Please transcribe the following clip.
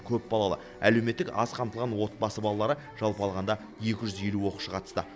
көпбалалы әлеуметтік аз қамтылған отбасы балалары жалпы алғанда екі жүз елу оқушы қатысты